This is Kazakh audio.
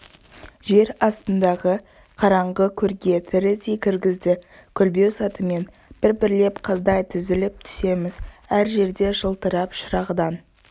жер астындағы қараңғы көрге тірідей кіргізді көлбеу сатымен бір-бірлеп қаздай тізіліп түсеміз әр жерде жылтырап шырағдан